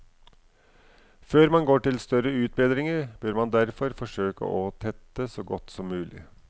Før man går til større utbedringer, bør man derfor forsøke å tette så godt som mulig.